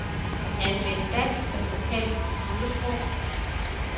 Anvend dansk som lokalt computersprog.